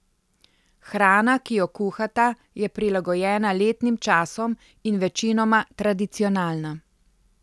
Hrana, ki jo kuhata, je prilagojena letnim časom in večinoma tradicionalna.